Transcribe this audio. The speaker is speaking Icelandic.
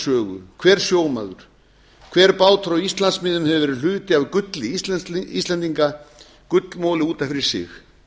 sögu hver sjómaður hver bátur á íslandsmiðum hefur verið hluti af gulli íslendinga gullmoli út af fyrir sig